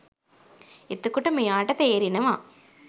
එතකොට මෙයාට තේරෙනව